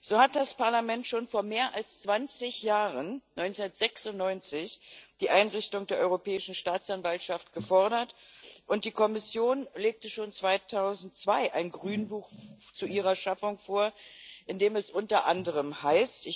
So hat das Parlament schon vor mehr als 20 Jahren 1996 die Einrichtung der Europäischen Staatsanwaltschaft gefordert, und die Kommission legte schon 2002 ein Grünbuch zu ihrer Schaffung vor, in dem es unter anderem heißt